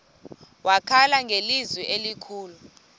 wakhala ngelizwi elikhulu